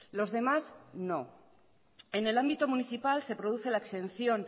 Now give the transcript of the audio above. los demás no en el ámbito municipal se produce la exención